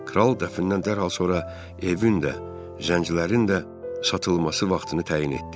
Kral dəfnindən dərhal sonra evin də, zənclərin də satılması vaxtını təyin etdi.